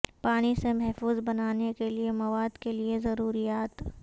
پانی سے محفوظ بنانے کے لئے مواد کے لئے ضروریات